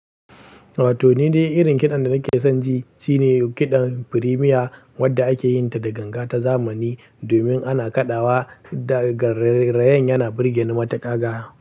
Toh, ni dai irin kiɗan da nake son ji shine kiɗan firemiya wanda ake yin ta da ganga ta zamani domin ana kaɗawa da garaye yana burge ni matuƙa ga.